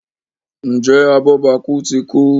Njé abobaku tí kú?